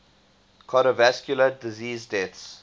cardiovascular disease deaths